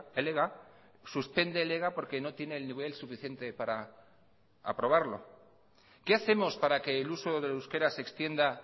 el ega suspende el ega porque no tiene el nivel suficiente para aprobarlo qué hacemos para que el uso del euskera se extienda